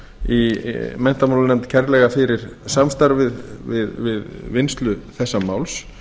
í menntamálanefnd kærlega fyrir samstarfið við vinnslu þessa máls